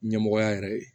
Ɲɛmɔgɔya yɛrɛ ye